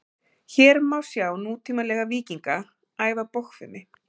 hér má sjá nútímalega „víkinga“ æfa bogfimi